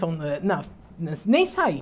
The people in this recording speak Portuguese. não, nem saí.